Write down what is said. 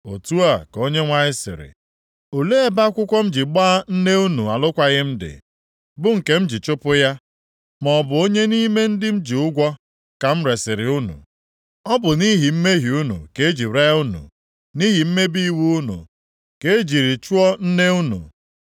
Otu a ka Onyenwe anyị sịrị, “Olee ebe akwụkwọ m ji gbaa nne unu alụkwaghị m dị bụ nke m ji chụpụ ya? Ma ọ bụ onye nʼime ndị m ji ụgwọ ka m resiri unu? Ọ bụ nʼihi mmehie unu ka e ji ree unu; nʼihi mmebi iwu unu ka e jiri chụọ nne unu.